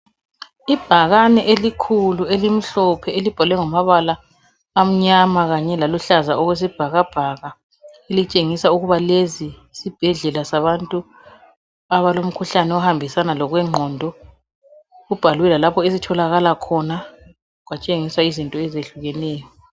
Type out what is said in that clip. Ibhakane elikhulu elimhlophe elibhalwe ngamabala amnyama kanye laluhlaza okwesibhakabhaka elitshengisa ukuthi lezizibhedlela sabantu abalomkhuhlane ohambisana lokwengqondo . Kubhalwe lalapho eliitholakala khona kwatshengiswa izinto ezihlukeneyo